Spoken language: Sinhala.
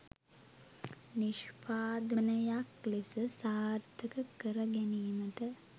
නිෂ්පාදනයක් ලෙස සාර්ථක කරගැනීමට